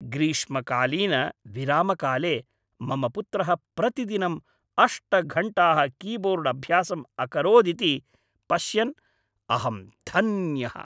ग्रीष्मकालीन विरामकाले मम पुत्रः प्रतिदिनं अष्ट घण्टाः कीबोर्ड् अभ्यासम् अकरोदिति पश्यन् अहं धन्यः।